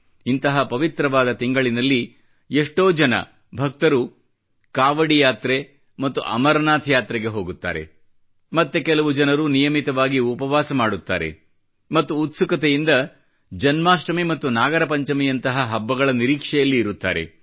ಇಂತಹ ಪವಿತ್ರವಾದ ತಿಂಗಳಿನಲ್ಲಿ ಎಷ್ಟೋ ಜನ ಭಕ್ತರು ಕಾವಡಿ ಯಾತ್ರೆ ಮತ್ತು ಅಮರನಾಥ್ ಯಾತ್ರೆಗೆ ಹೋಗುತ್ತಾರೆ ಮತ್ತೆ ಕೆಲವು ಜನರು ನಿಯಮಿತವಾಗಿ ಉಪವಾಸ ಮಾಡುತ್ತಾರೆ ಮತ್ತು ಉತ್ಸುಕತೆಯಿಂದ ಜನ್ಮಾಷ್ಟಮಿ ಮತ್ತು ನಾಗಪಂಚಮಿಯಂತಹ ಹಬ್ಬಗಳ ನಿರೀಕ್ಷೆಯಲ್ಲಿ ಇರುತ್ತಾರೆ